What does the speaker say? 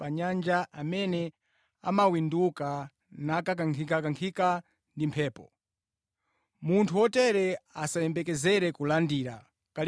Iyeyu ndi munthu wa mitima iwiri, wosakhazikika pa zimene akuchita.